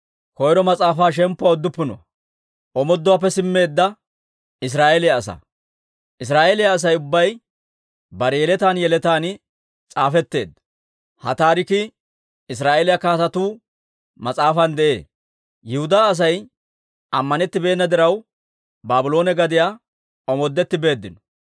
Israa'eeliyaa Asay ubbay bare yeletaan yeletaan s'aafetteedda; ha taarikii Israa'eeliyaa Kaatetuu mas'aafan de'ee. Yihudaa Asay ammanettibeenna diraw, Baabloone gadiyaa omoodetti beeddino.